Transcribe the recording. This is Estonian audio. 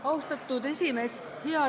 Austatud esimees!